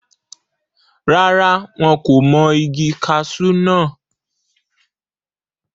rárá, wọn kò mọ igi kasú náà